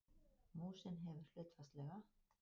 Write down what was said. Músin hefur hlutfallslega